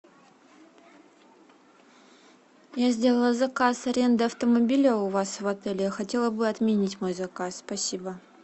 я сделала заказ аренды автомобиля у вас в отеля я бы хотела отменить мой заказ спасибо